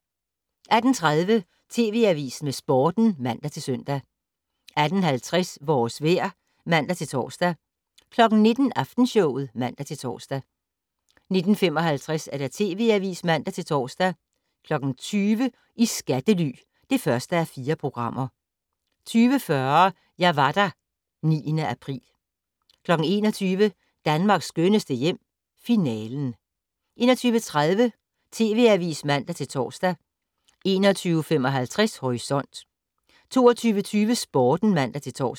18:30: TV Avisen med Sporten (man-søn) 18:50: Vores vejr (man-tor) 19:00: Aftenshowet (man-tor) 19:55: TV Avisen (man-tor) 20:00: I skattely (1:4) 20:40: Jeg var der - 9. april 21:00: Danmarks skønneste hjem - Finalen 21:30: TV Avisen (man-tor) 21:55: Horisont 22:20: Sporten (man-tor)